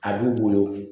A b'u bolo